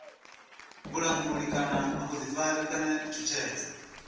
vhulanguli kana vhuḓifari kana tshutshedzo